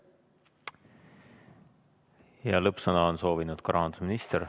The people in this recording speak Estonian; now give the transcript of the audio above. Lõppsõna on soovinud ka rahandusminister.